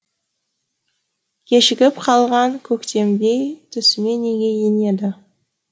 кешігіп қалған көктемдей түсіме неге енеді